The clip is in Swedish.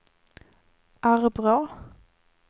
Arbrå